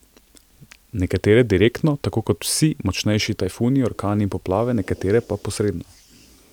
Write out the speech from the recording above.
Nekatere direktno, tako kot vse močnejši tajfuni, orkani in poplave, nekatere pa posredno.